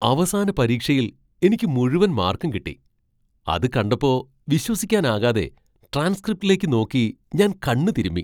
അവസാന പരീക്ഷയിൽ എനിക്കു മുഴുവൻ മാർക്കും കിട്ടി. അതു കണ്ടപ്പോ വിശ്വസിക്കാനാകാതെ ട്രാൻസ്ക്രിപ്റ്റിലേക്ക് നോക്കി ഞാൻ കണ്ണു തിരുമ്മി.